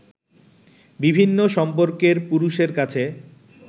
বিভিন্ন সম্পর্কের পুরুষের কাছে